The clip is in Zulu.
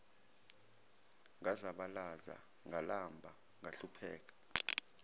ngazabalaza ngalamba ngahlupheka